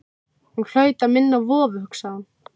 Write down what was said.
Hún hlaut að minna á vofu, hugsaði hún.